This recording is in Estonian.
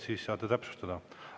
Siis saate täpsustada.